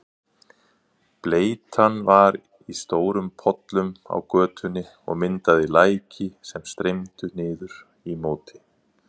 Bleytan var í stórum pollum á götunni og myndaði læki sem streymdu niður í móti.